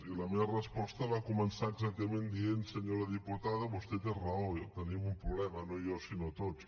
i la meva resposta va començar exactament dient senyora diputada vostè té raó tenim un problema no jo sinó tots